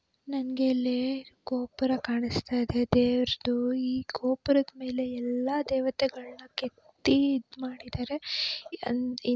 ನಂಗೆ ಇಲ್ಲಿ ಗೋಪುರ ಕಾಣಿಸ್ತಾ ಇದೆ ದೇವರದು ಈ ಗೋಪುರದ ಮೇಲೆ ಎಲ್ಲಾ ದೇವತೆಗಳನ್ನ ಕೆತ್ತಿಇದ್ ಮಾಡಿದರೆ ಅ --